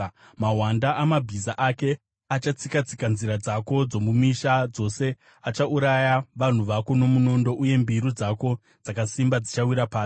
Mahwanda amabhiza ake achatsika-tsika nzira dzako dzomumisha dzose; achauraya vanhu vako nomunondo, uye mbiru dzako dzakasimba dzichawira pasi.